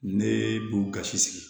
Ne b'u gasi sigi